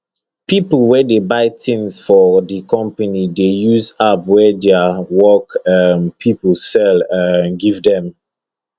people wey dey buy tins for di company dey use app wey their work um pipo sell um give dem